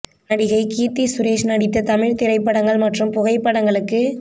நடிகை கீர்த்தி சுரேஷ் நடித்த தமிழ் திரைப்படங்கள் மற்றும் புகைப்படங்களுக்கு